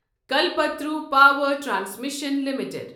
Kalpataru power transmission limited